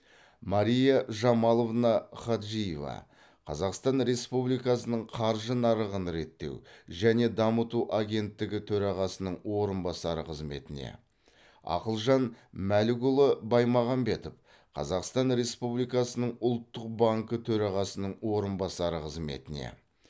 мария жамаловна хаджиева қазақстан республикасының қаржы нарығын реттеу және дамыту агенттігі төрағасының орынбасары қызметіне ақылжан мәлікұлы баймағамбетов қазақстан республикасының ұлттық банкі төрағасының орынбасары қызметіне